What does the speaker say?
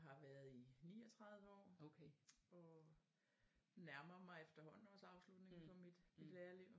Har været i 39 år og nærmer mig efterhånden også afslutningen på mit lærerliv